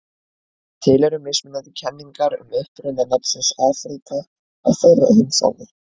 Til eru mismunandi kenningar um uppruna nafnsins Afríka á þeirri heimsálfu.